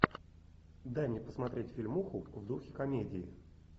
дай мне посмотреть фильмуху в духе комедии